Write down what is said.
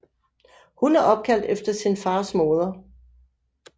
Hun er opkaldt efter sin fars moder